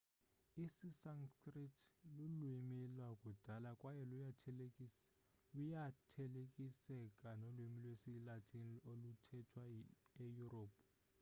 isisanskrit lulwimi lwakudala kwaye luyathelekiseka nolwimi lwesilatin oluthethwa eyurophu